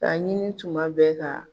Ka ɲini tuma bɛɛ ka